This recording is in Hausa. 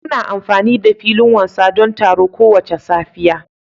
Muna amfani da filin wasa don taro kowace safiya